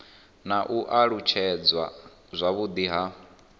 na u alutshedzwa zwavhudi ha